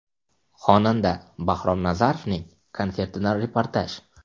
Xonanda Bahrom Nazarovning konsertidan reportaj.